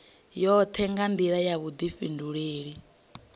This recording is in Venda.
yoṱhe nga nḓila ya vhuḓifhinduleli